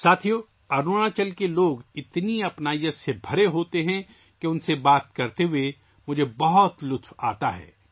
دوستو، اروناچل کے لوگ اتنے گرمجوش ہیں کہ مجھے ان سے بات کرنے میں مزہ آتا ہے